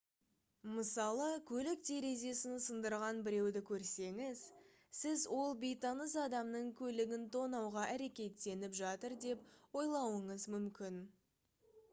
мысалы көлік терезесін сындырған біреуді көрсеңіз сіз ол бейтаныс адамның көлігін тонауға әрекеттеніп жатыр деп ойлауыңыз мүмкін